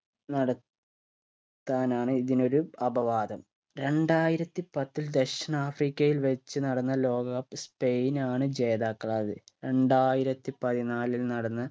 നട ത്താനാണ് ഇതിനൊരു അപവാദം രണ്ടായിരത്തി പത്തിൽ ദക്ഷിണാഫ്രിക്കയിൽ വെച്ച് നടന്ന ലോക cup സ്പൈനാണ് ജേതാക്കളായത് രണ്ടായിരത്തി പതിനാലിൽ നടന്ന്